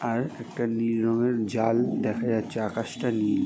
আর একটা নীল রং এর জাল দেখা যাচ্ছে আকাশটা নীল।